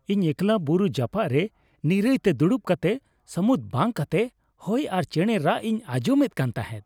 ᱤᱧ ᱮᱠᱞᱟ ᱵᱩᱨᱩ ᱡᱟᱯᱟᱜ ᱨᱮ ᱱᱤᱨᱟᱹᱭᱛᱮ ᱫᱩᱲᱩᱵ ᱠᱟᱛᱮ ᱥᱟᱹᱢᱩᱫ ᱵᱟᱝ ᱠᱟᱛᱮ ᱦᱚᱭ ᱟᱨ ᱪᱮᱬᱮ ᱨᱟᱜ ᱤᱧ ᱟᱸᱡᱚᱢ ᱮᱫ ᱠᱟᱱ ᱛᱟᱦᱮᱸᱫ ᱾